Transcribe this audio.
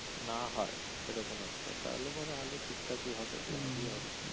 না হয় সেরকম একটা তাহলে পরে আলু ঠিকঠাকই হবে লাভই হবে।